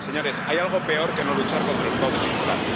Señores, ¿hay algo peor que no luchar contra el fraude fiscal?